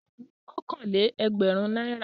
Mú okòó-lé-ẹgbẹ̀rún náírà!